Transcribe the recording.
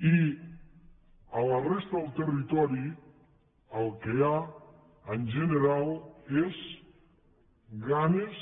i a la resta del territori el que hi ha en general són ganes